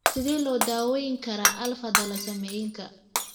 Sidee loo daweyn karaa alfa thalassaemiaka?